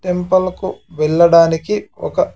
Temple కు వెళ్ళడానికి ఒక్క.